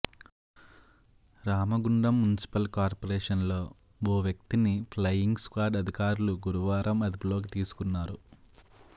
Ramagundam municipal కార్పొరేషన్లో ఓ వ్యక్తిని ఫ్లయింగ్ స్క్వాడ్ అధికారులు గురువారం అదుపులోకి తీసుకున్నారు